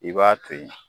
I b'a to yen